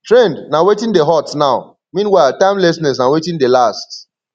trend na wetin dey hot now meanwhile timelessness na wetin dey last